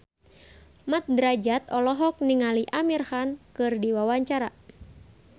Mat Drajat olohok ningali Amir Khan keur diwawancara